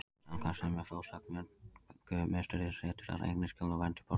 Samkvæmt sömu frásögn fengu Musterisriddarar einnig skjól og vernd í Portúgal.